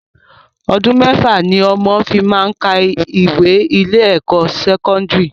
Ọdún mẹ́fà ni ọmọ fi máá ń ka ìwé ní ilé ẹ̀kọ́ sẹ́kọ́ndìrì